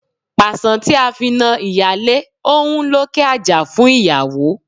Pàṣán tí a fi na ìyálé ó ń lókè àjà fún ìyàwó.